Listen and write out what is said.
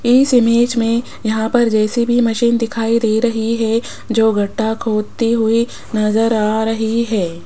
इस इमेज में यहां पर जे_सी_बी मशीन दिखाई दे रही है जो गड्ढा खोदती हुई नजर आ रही है।